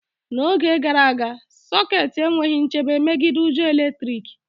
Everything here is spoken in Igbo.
N'oge gara aga, sokets enweghị nchebe megide ujo eletrik